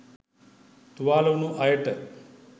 තුවාල වුණ අයට